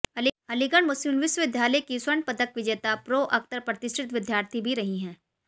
अलीगढ़ मुस्लिम विश्वविद्यालय की स्वर्ण पदक विजेता प्रो अख्तर प्रतिष्ठित विद्यार्थी भी रही हैं